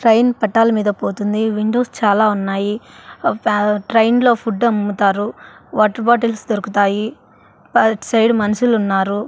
Train పట్టాల మీద పోతుంది విండోస్ చాలా ఉన్నాయి ట్రైన్ లో ఫుడమ్ముతారు వాటర్ బాటిల్స్ దొరుకుతాయి అట్ సైడు మన్షులున్నారు.